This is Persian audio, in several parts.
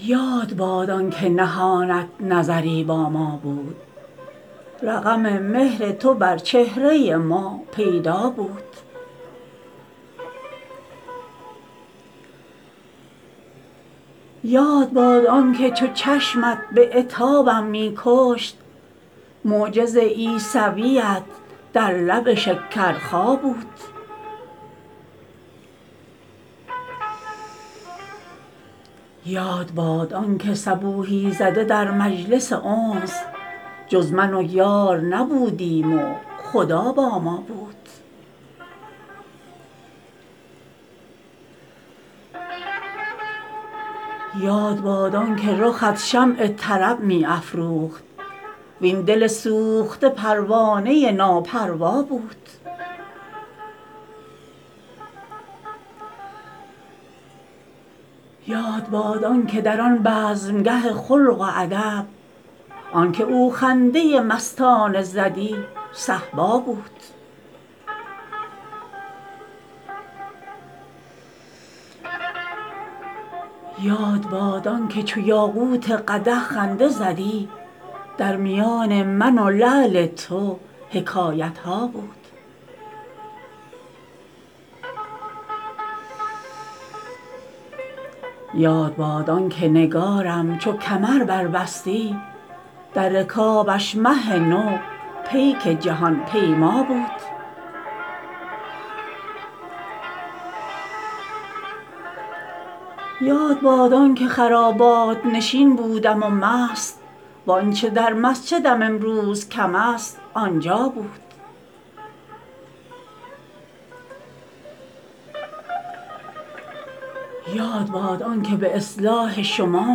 یاد باد آن که نهانت نظری با ما بود رقم مهر تو بر چهره ما پیدا بود یاد باد آن که چو چشمت به عتابم می کشت معجز عیسویت در لب شکرخا بود یاد باد آن که صبوحی زده در مجلس انس جز من و یار نبودیم و خدا با ما بود یاد باد آن که رخت شمع طرب می افروخت وین دل سوخته پروانه ناپروا بود یاد باد آن که در آن بزمگه خلق و ادب آن که او خنده مستانه زدی صهبا بود یاد باد آن که چو یاقوت قدح خنده زدی در میان من و لعل تو حکایت ها بود یاد باد آن که نگارم چو کمر بربستی در رکابش مه نو پیک جهان پیما بود یاد باد آن که خرابات نشین بودم و مست وآنچه در مسجدم امروز کم است آنجا بود یاد باد آن که به اصلاح شما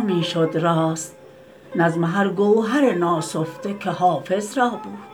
می شد راست نظم هر گوهر ناسفته که حافظ را بود